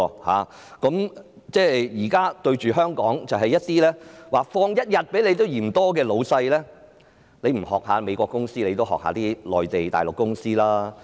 我們現時面對香港多放1天假期也嫌多的僱主，即使他們不仿效美國公司，也應仿效內地的公司的做法。